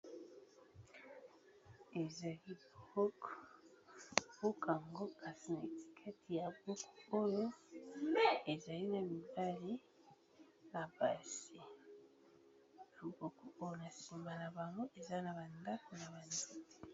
Ezali buku, buku yango kasi na etiketi ya buku oyo ezali na mibali na basi loboko oyo na sima na bango eza na ba ndako na ba nzete.